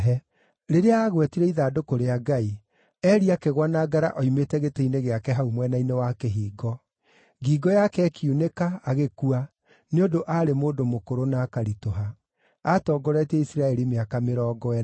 Rĩrĩa aagwetire ithandũkũ rĩa Ngai, Eli akĩgũa na ngara oimĩte gĩtĩ-inĩ gĩake hau mwena-inĩ wa kĩhingo. Ngingo yake ĩkiunĩka, agĩkua, nĩ ũndũ aarĩ mũndũ mũkũrũ na akaritũha. Aatongoretie Isiraeli mĩaka mĩrongo ĩna.